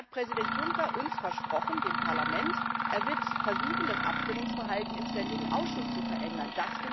Nun hat Präsident Juncker uns, dem Parlament, versprochen, er wird versuchen, das Abstimmungsverhalten im ständigen Ausschuss zu verändern.